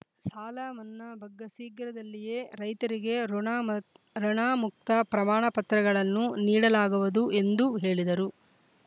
ಸಾಲ ಮನ್ನಾ ಬಗ್ಗೆ ಶೀಘ್ರದಲ್ಲಿಯೇ ರೈತರಿಗೆ ಋಣಮ ಋಣಮುಕ್ತ ಪ್ರಮಾಣಪತ್ರಗಳನ್ನು ನೀಡಲಾಗುವುದು ಎಂದು ಹೇಳಿದರು